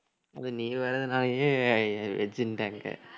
அதுவும் நீ வர்றதுனாலேயே veg ன்னுட்டாங்க